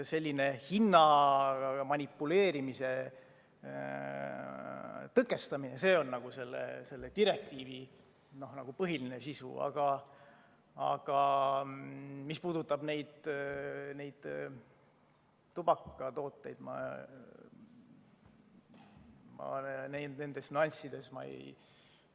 Selline hinnaga manipuleerimise tõkestamine on selle direktiivi põhiline sisu, aga mis puudutab neid tubakatooteid, siis neid nüansse ma ei tea.